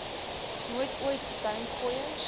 nooit ooit duimgooiers